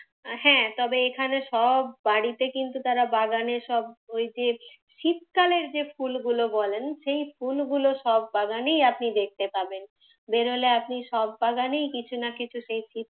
হ্যাঁ তবে এখানে সব বাড়িতে কিন্তু তারা বাগানে সব ওই যে শীতকালের যে ফুলগুলো বলেন সেই ফুলগুলো সব বাগানেই আপনি দেখতে পাবেন। বেরোলে আপনি সব বাগানেই কিছু না কিছু সেই শীত,